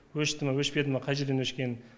өшті ме өшпеді ме қай жерден өшкенін